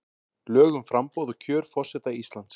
Lög um framboð og kjör forseta Íslands.